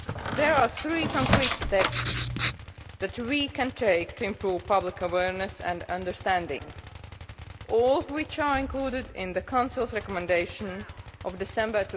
There are three concrete steps that we can take to improve public awareness and understanding, all of which are included in the Council's recommendation of December